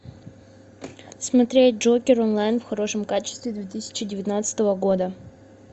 смотреть джокер онлайн в хорошем качестве две тысячи девятнадцатого года